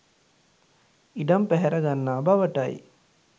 ඉඩම් පැහැර ගන්නා බවටයි